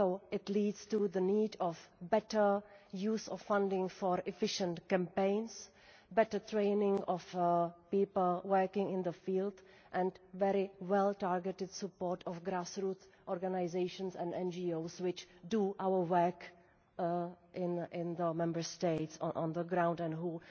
It leads to the need for better use of funding for efficient campaigns, better training of people working in the field and very well-targeted support of grassroots organisations and NGOs which do our work in the Member States on the ground and